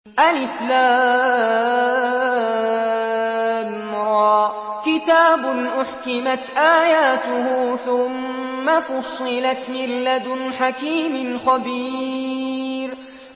الر ۚ كِتَابٌ أُحْكِمَتْ آيَاتُهُ ثُمَّ فُصِّلَتْ مِن لَّدُنْ حَكِيمٍ خَبِيرٍ